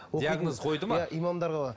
диагноз қойды ма иә имамдарға